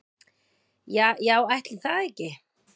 Ja já ætli það ekki.